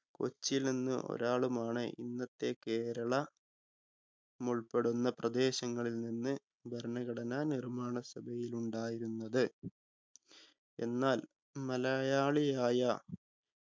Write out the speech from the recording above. കൊച്ചിയിൽ നിന്ന് ഒരാളുമാണ് ഇന്നത്തെ കേരള മുൾപ്പെടുന്ന പ്രദേശങ്ങളിൽ നിന്ന് ഭരണഘടനാ നിർമ്മാണ സഭയിലുണ്ടായിരുന്നത്. എന്നാൽ മലയാളിയായ